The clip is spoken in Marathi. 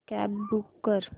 कॅब बूक कर